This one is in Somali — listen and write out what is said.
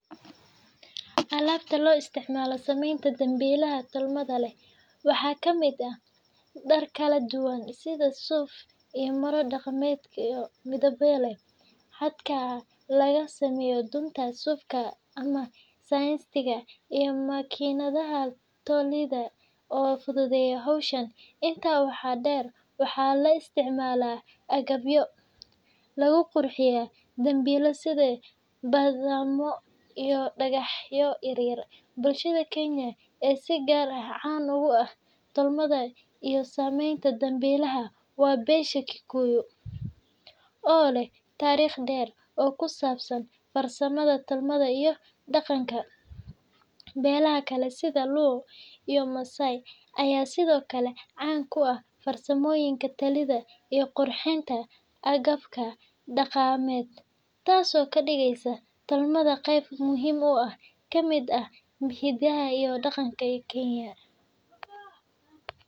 Alabta loo isticmaalo samaynta dambilaha tolmada leh waxaa ka mid ah dhar kala duwan sida suuf iyo maro dhaqameedyo midabo leh, xadhkaha laga sameeyo dunta suufka ama synthetic-ka, iyo makiinadaha tolida oo fududeeya hawsha. Intaa waxaa dheer, waxaa la isticmaalaa agabyo lagu qurxiyo dambilaha sida badhamo iyo dhagaxyo yaryar. Bulshada Kenya ee si gaar ah caan ugu ah tolmada iyo samaynta dambilaha waa beesha Kikuyu, oo leh taariikh dheer oo ku saabsan farsamada tolmada iyo dhaqanka. Beelaha kale sida Luo iyo Maasai ayaa sidoo kale caan ku ah farsamooyinka tolida iyo qurxinta agabka dhaqameed, taasoo ka dhigaysa tolmada qayb muhiim ah oo ka mid ah hidaha iyo dhaqanka Kenya.